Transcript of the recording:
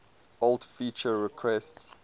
old feature requests